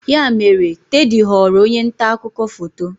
Ya mere, Teddy ghọrọ onye nta akụkọ foto.